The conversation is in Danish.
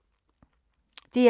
DR1